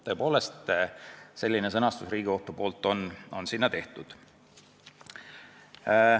Tõepoolest, sellist sõnastust on Riigikohus kasutanud.